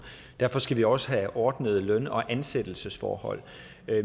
derfor skal vi også have ordnede løn og ansættelsesforhold